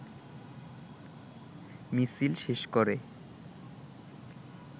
মিছিল শেষ করে